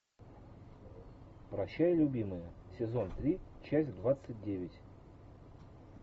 прощай любимая сезон три часть двадцать девять